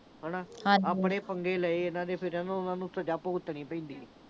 ਹਨਾ। ਆਪਣੇ ਪੰਗੇ ਲਏ ਇਨ੍ਹਾਂ ਦੇ, ਫਿਰ ਨਾ ਉਨ੍ਹਾਂ ਨੂੰ ਸਜ਼ਾ ਭੁਗਤਣੀ ਪੈਂਦੀ ਆ।